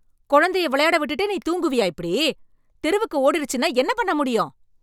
கொழந்தைய விளையாட விட்டுட்டு நீ தூங்குவியா இப்படி? தெருவுக்கு ஓடிருச்சுன்னா என்னப் பண்ண முடியும்?